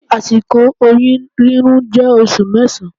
Àsìkò oyún rírùn jẹ́ oṣù mẹsan.